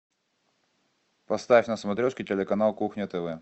поставь на смотрешке телеканал кухня тв